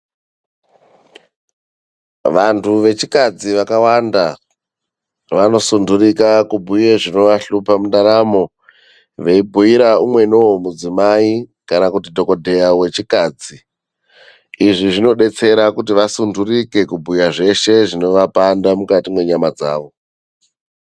Vanthu vechikadzi vakawanda vanosundurika kubhuye zvinovahlupa mundaramo, veibhuira umweniwo mudzimai kana dhogodheya wechikadzi. Izvi zvinodetsera kuti vasundurike kubhuya zveshe zvinovapanda mukati mwenyama dzavo.